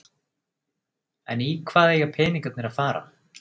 En í hvað eiga peningarnir að fara?